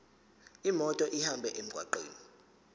imoto ihambe emgwaqweni